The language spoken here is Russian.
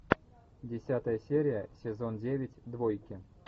десятая серия сезон девять двойки